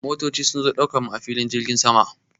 Motoci sun zo ɗaukar mu a filin jirgin sama.